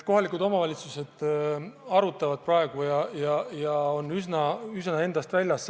Kohalikud omavalitsused arutavad praegu asjade seisu ja on üsna endast väljas.